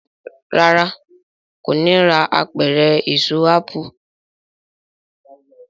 ràrá kò ní rà Apẹ̀rẹ̀ Èso ápù.